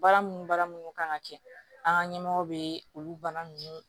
Baara minnu baara minnu kan ka kɛ an ka ɲɛmɔgɔw bɛ olu bana ninnu